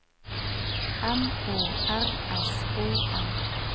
M O R S O M